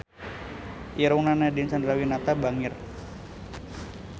Irungna Nadine Chandrawinata bangir